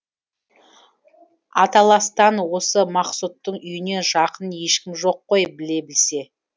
аталастан осы мақсұттың үйінен жақын ешкімі жоқ қой біле білсе